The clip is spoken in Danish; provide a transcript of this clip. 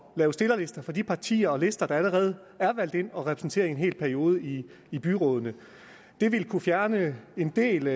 at lave stillerlister for de partier og lister der allerede er valgt ind og er repræsenteret i en hel periode i i byrådene det ville kunne fjerne en del